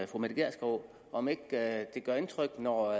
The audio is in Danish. fru mette gjerskov om ikke det gør indtryk når